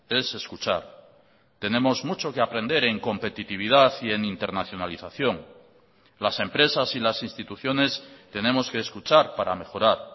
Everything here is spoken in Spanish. es escuchar tenemos mucho que aprender en competitividad y en internacionalización las empresas y las instituciones tenemos que escuchar para mejorar